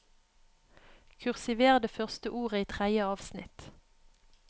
Kursiver det første ordet i tredje avsnitt